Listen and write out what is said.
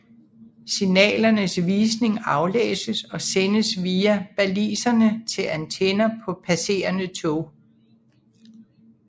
Signalernes visning aflæses og sendes via baliserne til antenner på passerende tog